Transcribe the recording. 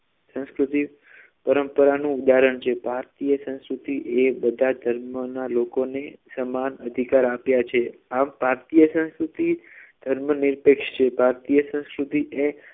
સંસ્કૃતિ પરંપરાનું ઉદાહરણ છે ભારતીય સંસ્કૃતિ એ બધા ધર્મના લોકોને સમાન અધિકાર આપ્યા છે આ ભારતીય સંસ્કૃતિ ધર્મનિરપેક્ષ છે ભારતીય સંસ્કૃતિ એ